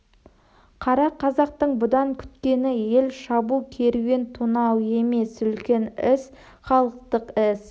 қара қазақтың бұдан күткені ел шабу керуен тонау емес үлкен іс халықтық іс